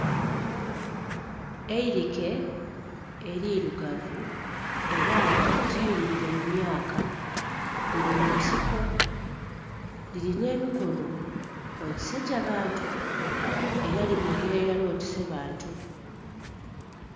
Eirike eri lugavu era nga ligiririre mu myaaka liri mu nsiko lirina emikono otise gya bantu! era limogera irala otise bantu.